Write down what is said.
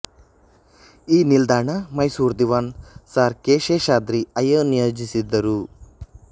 ಈ ನಿಲ್ದಾಣ ಮೈಸೂರು ದಿವಾನ್ ಸರ್ ಕೆ ಶೇಷಾದ್ರಿ ಅಯ್ಯ ನಿಯೋಜಿಸಿದ್ದರು